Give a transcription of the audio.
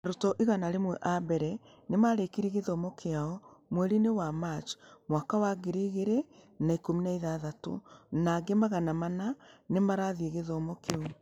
Arutwo igana rĩmwe a mbere nĩ marĩkirie gĩthomo kĩao mweri-inĩ wa Machi mwaka wa ngiri igĩrĩ na ikũmi na ithathatũ, na angĩ magana mana nĩ marathiĩ gĩthomo kĩu.